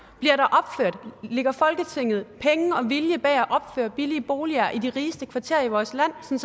lægger folketinget penge og vilje bag det at opføre billige boliger i de rigeste kvarterer i vores land sådan